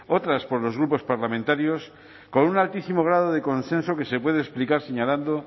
otras por los grupos parlamentarios con un altísimo grado de consenso que se puede explicar señalando